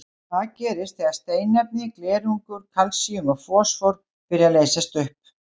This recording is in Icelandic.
Það gerist þegar steinefni, glerungur, kalsíum og fosfór byrja að leysast upp.